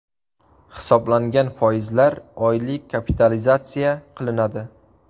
Hisoblangan foizlar oylik kapitalizatsiya qilinadi.